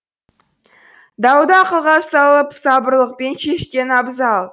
дауды ақылға салып сабырлылықпен шешкен абзал